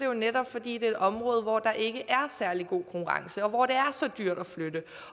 jo netop fordi det er et område hvor der ikke er særlig god konkurrence og hvor det er så dyrt at flytte